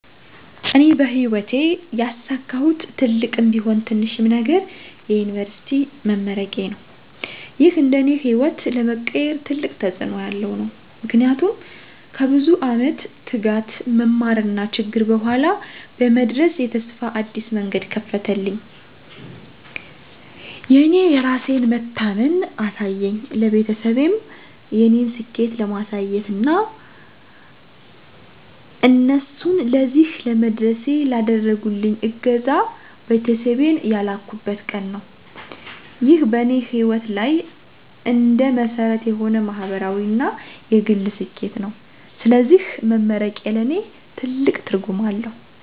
እኔ በሕይወቴ ያሳካሁት ትልቅም ቢሆን ትንሽም ነገር የዩኒቨርሲቲ መመረቄዬ ነው። ይህ እንደ እኔ ሕይወት ለመቀየር ትልቅ ተጽእኖ ያለው ነው። ምክንያቱም ከብዙ ዓመት ትጋት፣ መማርና ችግር በኋላ በመድረስ የተስፋ አዲስ መንገድ ከፈተልኝ። የእኔ የራሴን መታመን አሳየኝ፣ ለቤተሰቤም የእኔን ስኬት ለማሳየት እና እነሱንም ለዚህ ለመድረሴ ላደረጉልኝ እገዛ ቤተሰቤን ያላቁበት ቀን ነው። ይህ በእኔ ሕይወት ላይ እንደ መሰረት የሆነ ማህበራዊ እና የግል ስኬቴ ነው። ስለዚህ መመረቄ ለእኔ ትልቅ ትርጉም አለው።